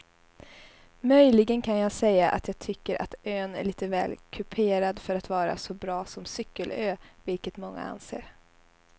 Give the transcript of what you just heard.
Möjligen kan jag säga att jag tycker att ön är lite väl kuperad för att vara så bra som cykelö vilket många anser.